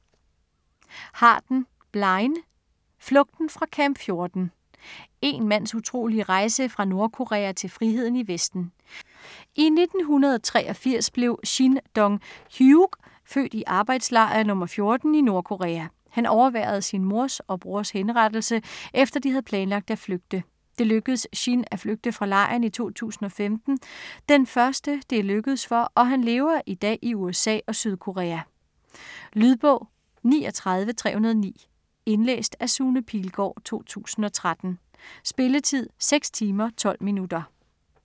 Harden, Blaine: Flugten fra Camp 14 Én mands utrolige rejse fra Nordkorea til friheden i Vesten. I 1983 blev Shin Dong-hyuk født i arbejdslejr nr. 14 i Nordkorea. Han overværede sin mors og brors henrettelse, efter de havde planlagt at flygte. Det lykkedes Shin at flygte fra lejren i 2005 - den første det er lykkedes for - og han lever i dag i USA og Sydkorea. Lydbog 39309 Indlæst af Sune Pilgaard, 2013. Spilletid: 6 timer, 12 minutter.